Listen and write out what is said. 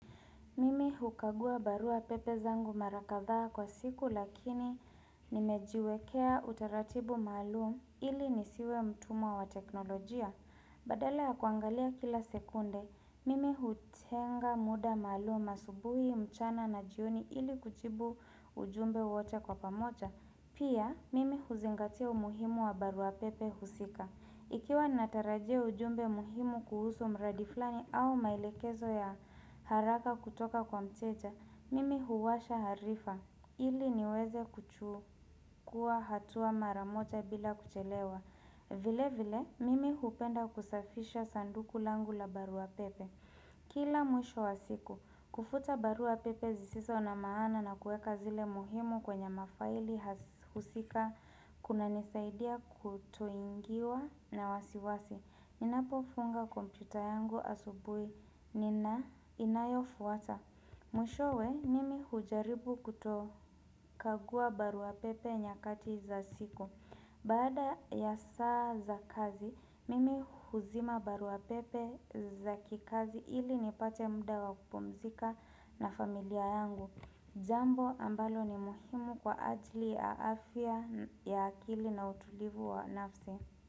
Mimi hukagua barua pepe zangu mara kadhaa kwa siku lakini nimejiwekea utaratibu maluum ili nisiwe mtumwa wa teknolojia. Badala ya kuangalia kila sekunde, mimi hutenga muda maluum asubuhi mchana na jioni ili kujibu ujumbe wote kwa pamoja. Pia, mimi huzingatia umuhimu wa barua pepe husika. Ikiwa natarajia ujumbe muhimu kuhusu mradi fulani au maelekezo ya haraka kutoka kwa mteja, mimi huwasha harifa. Ili niweze kuchukuwa hatua maramoja bila kuchelewa. Vile vile, mimi hupenda kusafisha sanduku langu la barua pepe. Kila mwisho wa siku, kufuta barua pepe zisizo na maana na kueka zile muhimu kwenye mafaili husika. Kunanisaidia kutoingiwa na wasiwasi Ninapo funga kompyuta yangu asubuhi Nina inayofwata Mwishowe mimi hujaribu kutokagua barua pepe nyakati za usiku Baada ya saa za kazi Mimi huzima barua pepe za kikazi ili nipate muda wakupumzika na familia yangu Jambo ambalo ni muhimu kwa ajili ya afya ya akili na utulivu wa nafsi.